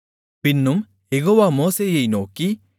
பின்னும் யெகோவா மோசேயை நோக்கி